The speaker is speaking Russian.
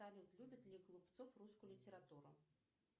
салют любит ли голубцов русскую литературу